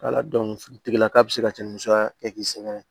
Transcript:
tigilaka bɛ se ka cɛnni musa kɛ k'i sɛgɛrɛ